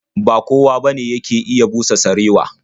Ba kowa bane yake iya busa sarewa.